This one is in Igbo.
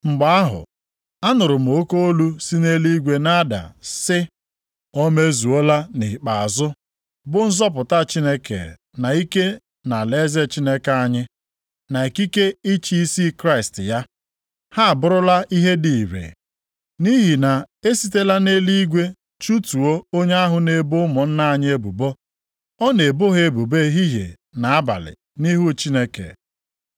Mgbe ahụ, anụrụ m oke olu si nʼeluigwe na-ada sị, “O mezuola nʼikpeazụ, bụ nzọpụta Chineke na ike na alaeze Chineke anyị, na ikike ịchị isi Kraịst ya, ha abụrụla ihe dị ire. Nʼihi na e sitela nʼeluigwe chụtuo onye ahụ na-ebo ụmụnna anyị ebubo. Ọ na-ebo ha ebubo ehihie na abalị nʼihu Chineke.